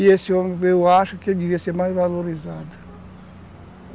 E esse homem, eu acho que ele deveria ser mais valorizado.